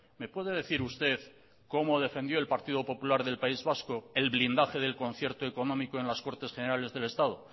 me puede decir usted cómo defendió el partido popular del país vasco el blindaje del concierto económico en las cortes generales del estado